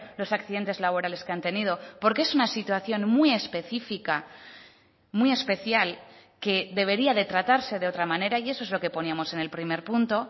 los accidentes laborales que han tenido porque es una situación muy específica muy especial que debería de tratarse de otra manera y eso es lo que ponemos en el primer punto